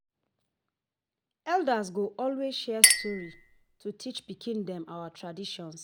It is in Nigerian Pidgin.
Elders go always share story to teach pikin them our tradition.